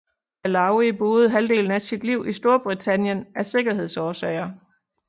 Allawi boede halvdelen af sit liv i Storbritannien af sikkerhedsårsager